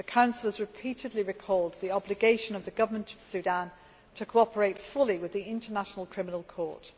The Council has repeatedly drawn attention to the obligation of the Government of Sudan to cooperate fully with the International Criminal Court.